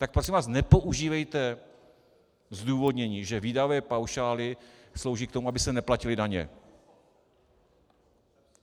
Tak prosím vás nepoužívejte zdůvodnění, že výdajové paušály slouží k tomu, aby se neplatily daně.